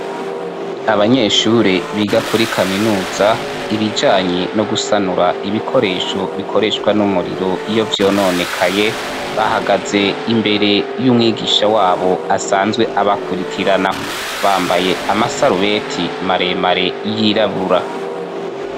Abanyeshure biga kuri kaminuza, ibijanye no gusanura ibikoresho bikoreshwa n'umuriro iyo vyononekaye, bahagaze imbere y'umwigisha wabo asanzwe abakurikirana, bambaye amasarubete maremare yirabura.